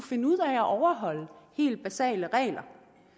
finde ud af at overholde helt basale regler